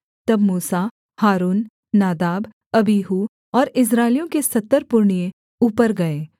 तब मूसा हारून नादाब अबीहू और इस्राएलियों के सत्तर पुरनिए ऊपर गए